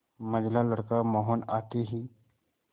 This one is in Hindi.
मंझला लड़का मोहन आते ही